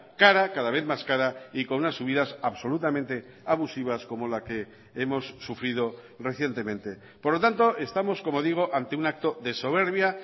cara cada vez más cara y con unas subidas absolutamente abusivas como la que hemos sufrido recientemente por lo tanto estamos como digo ante un acto de soberbia